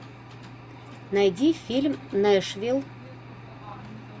найди фильм нэшвилл